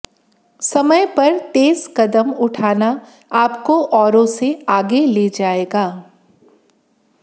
समय पर तेज़ क़दम उठाना आपको औरों से आगे ले जाएगा